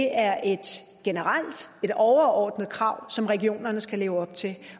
er et generelt et overordnet krav som regionerne skal leve op til